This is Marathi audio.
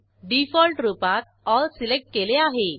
डिफॉल्ट रूपात एल सिलेक्ट केले आहे